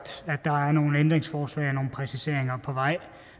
nogle ændringsforslag og nogle præciseringer på vej